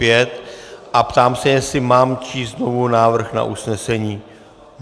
Ptám se, jestli mám číst znovu návrh na usnesení.